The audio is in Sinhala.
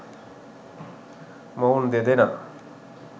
මොවුන් දෙදෙනා